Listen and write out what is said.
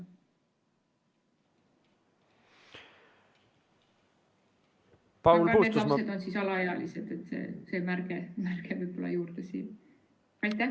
Kui need lapsed on alaealised, see märge võib-olla juurde siia.